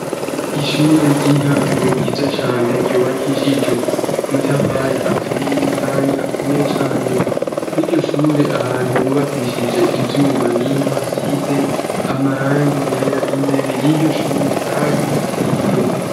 ishure ry'intango ryiza cane ryubakishijwe amatafari aturiye kandi akomeye cane kw'iryoshure ahantu bubakishije ivyuma niho hasize amarangi yera imbere y'iryoshure hari intebe